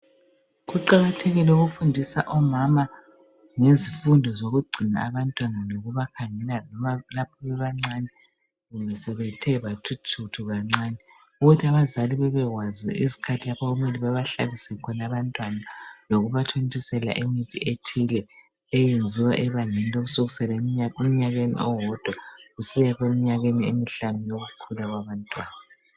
Kuqakathekile ukufundisa omama, ngezifundo zokugcina abantwana. Lokubakhangela lapha bebancane, loba sebethe thuthu kancane. Ukuthi abazali bebekwazi izikhathi lspho okumele babshlabise khona abantwana. Lokubathontisela imithi ethile, eyenziwa ebangeni lomnyaka owodwa, kusiya kwemihlanu. Yokukhula kwabamntwana.